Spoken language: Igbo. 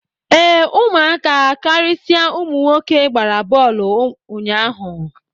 Ee, ụmụaka, karịsịa ụmụ nwoke gbara bọọlụ ụnyaahụ